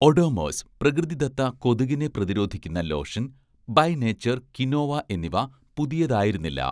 ഒഡോമോസ്' പ്രകൃതിദത്ത കൊതുകിനെ പ്രതിരോധിക്കുന്ന ലോഷൻ, 'ബൈ നേച്ചർ' ക്വിനോവ എന്നിവ പുതിയതായിരുന്നില്ല